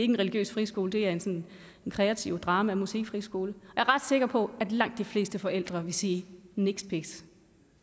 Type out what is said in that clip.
en religiøs friskole det er en kreativ drama og musikfriskole er ret sikker på at langt de fleste forældre ville sige niks niks